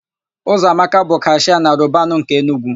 Ụzọamaka bụ kashịa na Robanu nke Enugwu.